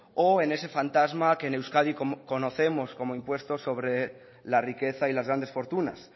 o en ese fantasma que en euskadi conocemos como impuesto sobre la riqueza y las grandes fortunas